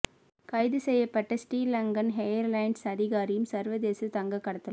கைது செய்யபட்ட ஶ்ரீலங்கன் எயர்லைன்ஸ் அதிகாரியும் சர்வதேச தங்கக் கடத்தலும்